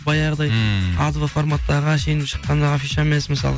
баяғыдай ммм а два форматтағы әшейін шыққан афиша емес мысалы